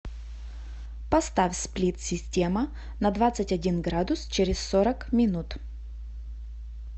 поставь сплит система на двадцать один градус через сорок минут